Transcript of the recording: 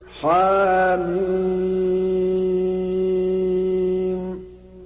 حم